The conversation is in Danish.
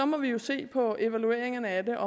må jo se på evalueringerne af det